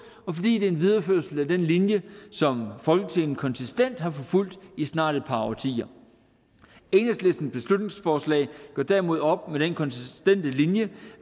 og fordi det er en videreførelse af den linje som folketinget konsistent har forfulgt i snart et par årtier enhedslistens beslutningsforslag gør derimod op med den konsistente linje